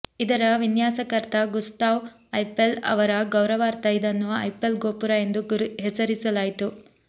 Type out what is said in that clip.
ಇದರ ವಿನ್ಯಾಸಕರ್ತ Gustave Eiffel ಅವರ ಗೌರವಾರ್ಥ ಇದನ್ನು ಐಫೆಲ್ ಗೋಪುರ ಎಂದು ಹೆಸರಿಸಲಾಯಿತು